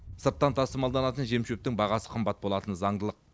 сырттан тасымалданатын жем шөптің бағасы қымбат болатыны заңдылық